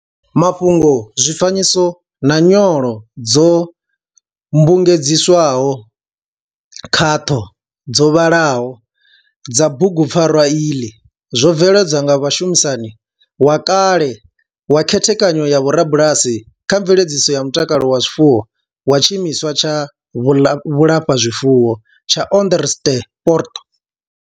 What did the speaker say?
Mafhungo, zwifanyiso na nyolo dzo mmbugedziswaho khaṱho dzo vhalaho dza bugupfarwa iḽi zwo veledzwa nga mushumisani wa kale kha khethekanyo ya vhorubalasi kha mveledziso ya mutakalo wa zwifuwo wa tshimiswa tsha vhulafhazwifuwo tsha Onderstepoort.